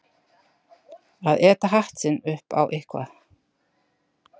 Að éta hatt sinn upp á eitthvað